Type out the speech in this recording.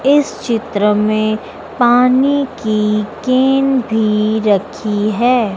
इस चित्र पानी की केन भी रखी है।